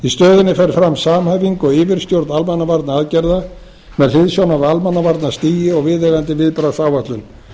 í stöðinni fer fram samhæfing og yfirstjórn almannavarnaaðgerða með hliðsjón af almannavarnastigi og viðeigandi viðbragðsáætlun